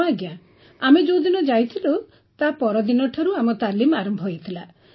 ହଁ ଆଜ୍ଞା ଆମେ ଯେଉଁଦିନ ଯାଇଥିଲୁ ତାପରଦିନ ଠାରୁ ଆମ ତାଲିମ ଆରମ୍ଭ ହୋଇଥିଲା